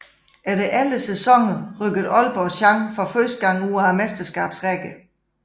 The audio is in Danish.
Efter 11 sæsoner rykkede Aalborg Chang for første gang ud af Mesterskabsrækken